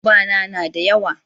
yan uba na na da yawa